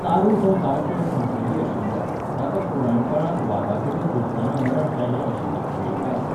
तारू हो गांवचो एक मुखेली आशिल्लो, ताका पुराणकाळांत वागाकडेन झुजतना मरण आयलें अशी आख्यायिका आसा.